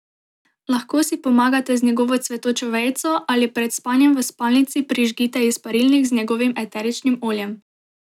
Lahko si pomagate z njegovo cvetočo vejico ali pred spanjem v spalnici prižgite izparilnik z njegovim eteričnim oljem.